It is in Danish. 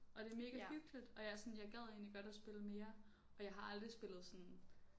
Og det mega hyggeligt og jeg sådan jeg gad egentlig godt at spille mere og jeg har aldrig spillet sådan